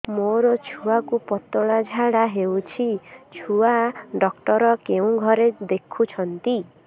ମୋର ଛୁଆକୁ ପତଳା ଝାଡ଼ା ହେଉଛି ଛୁଆ ଡକ୍ଟର କେଉଁ ଘରେ ଦେଖୁଛନ୍ତି